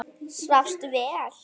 Svafstu vel?